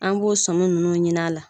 An b'o sɔmi ninnu ɲin'a la